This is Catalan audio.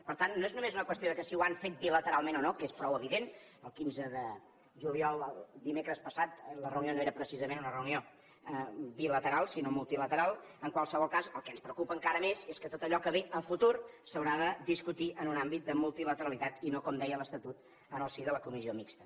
per tant no és només una qüestió de si ho han fet bilateralment o no que és prou evident el quinze de juliol el dimecres passat la reunió no era precisament una reunió bilateral sinó multilateral en qualsevol cas el que ens preocupa encara més és que tot allò que ve a futur s’haurà de discutir en un àmbit de multilateralitat i no com deia l’estatut en el si de la comissió mixta